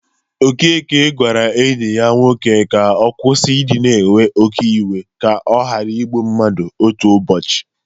Okeke gwara enyi ya nwoke ka ọ kwusi idị na ewe oke iwe ka ọ ghara ịgbụ mmadụ otu ụbọchị.